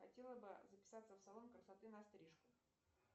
хотела бы записаться в салон красоты на стрижку